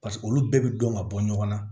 Paseke olu bɛɛ bɛ dɔn ka bɔ ɲɔgɔn na